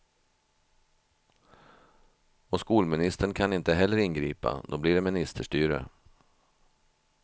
Och skolministern kan inte heller ingripa, då blir det ministerstyre.